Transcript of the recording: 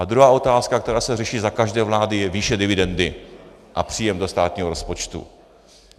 A druhá otázka, která se řeší za každé vlády, je výše dividendy a příjem do státního rozpočtu.